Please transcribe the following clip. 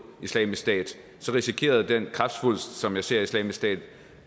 islamisk stat risikerede den kræftsvulst som jeg ser islamisk stat